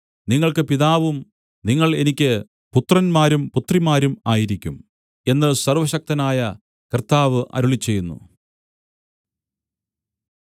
നിങ്ങൾക്ക് പിതാവും നിങ്ങൾ എനിക്ക് പുത്രന്മാരും പുത്രിമാരും ആയിരിക്കും എന്ന് സർവ്വശക്തനായ കർത്താവ് അരുളിച്ചെയ്യുന്നു